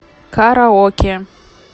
караоке